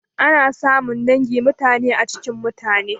Ana samun dangi mutane a cikin mutane.